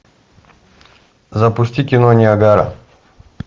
запусти кино ниагара